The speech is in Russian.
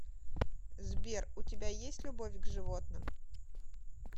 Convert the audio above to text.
сбер у тебя есть любовь к животным